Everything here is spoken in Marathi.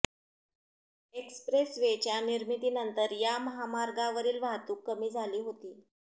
एक्स्प्रेस वेच्या निर्मितीनंतर या महामार्गावरील वाहतूक कमी झाली होती